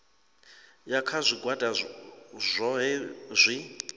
ya kha zwigwada zwohe zwi